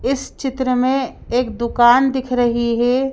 इस चित्र में एक दुकान दिख रही है।